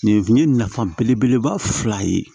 Nin ye nafa belebeleba fila ye